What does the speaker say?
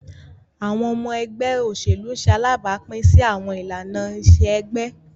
Awọn ọmọ ẹgbẹ oselu ṣe alabapin si awọn ilana-iṣe ẹgbẹ.